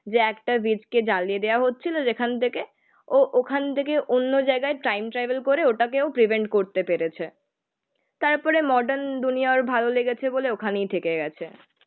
যে একটা কে জ্বালিয়ে দেওয়া হচ্ছিল যেখান থেকে. ও ওখান থেকে অন্য জায়গায় টাইম ট্রাভেল করে ওটাকেও প্রিভেন্ট করতে পেরেছে তারপরে মডার্ন দুনিয়ার ভালো লেগেছে বলে ওখানেই থেকে গেছে